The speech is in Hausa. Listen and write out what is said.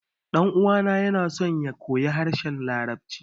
Ɗan uwana ya so ya koyi harshen larabci